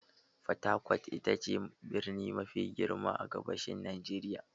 Fatakwat ita ce birni mafi girma a gabashin Najeriya.